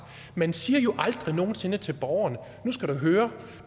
man siger jo aldrig nogen sinde til borgeren nu skal du høre